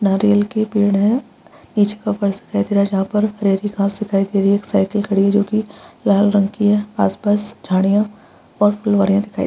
नारियल के पेड़ है इ जगह पर दिखाई दे रहा है जहां पर हरी-हरी घास दिखाई दे रही है एक साइकिल खड़ी है जो की लाल रंग की है आस-पास झाड़ियां और फुलवारियाँ दिखाई दे रहा है।